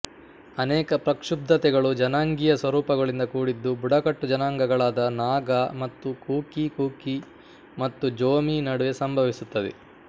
ಅನೇಕ ಪ್ರಕ್ಷುಬ್ಧತೆಗಳು ಜನಾಂಗೀಯ ಸ್ವರೂಪಗಳಿಂದ ಕೂಡಿದ್ದು ಬುಡಕಟ್ಟು ಜನಾಂಗಗಳಾದ ನಾಗಾ ಮತ್ತು ಕುಕಿ ಕುಕಿ ಮತ್ತು ಜೋಮಿ ನಡುವೆ ಸಂಭವಿಸುತ್ತದೆ